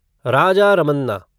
Raja Ramanna